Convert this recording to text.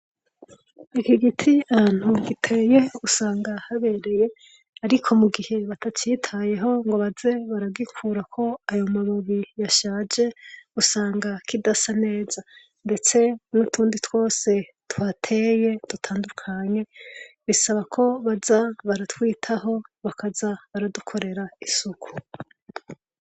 Iki giti ahantu giteye usanga habereye ariko mu gihe batacitayeho ngo baze baragikurako ayo mababi yashaje usanga kidasa neza ndetse nutundi twose tuhateye dutandukanye bisaba ko baza baratwitaho bakaza baradukorera isuku.